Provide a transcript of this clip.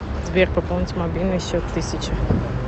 сбер пополнить мобильный счет тысяча